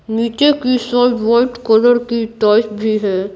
नीचे की side white colour की टाइल्स भी है।